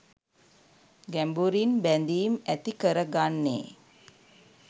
ගැඹුරින් බැඳීම් ඇති කරගන්නේ